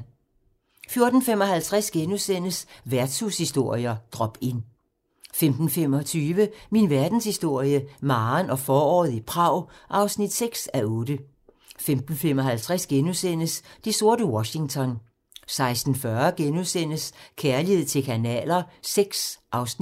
14:55: Værtshushistorier: Drop Inn * 15:25: Min verdenshistorie - Maren og foråret i Prag (6:8) 15:55: Det sorte Washington * 16:40: Kærlighed til kanaler VI (Afs.